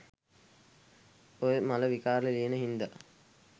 ඔය මල විකාර ලියන හින්දා